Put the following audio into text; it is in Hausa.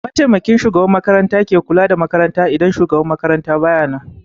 Mataimakin shugaban makaranta ke kula da makaranta in shugaban makarantan bayanan